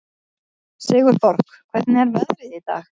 Sigurborg, hvernig er veðrið í dag?